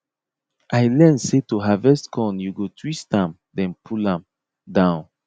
i learn say to harvest corn you go twist am then pull am down